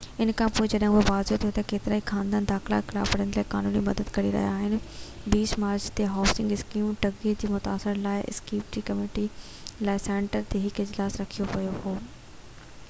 ان کانپوءِ جڏهن اهو واضع ٿيو ته ڪيترائي خاندان بي دخلي خلاف وڙهڻ لاءِ قانوني مدد وٺي ڪري رهيا آهن، 20 مارچ تي هائوسنگ اسڪيم ٺڳي جي متاثرين لاءِ East Bay community law centre تي هڪ اجلاس رکيو ويو هو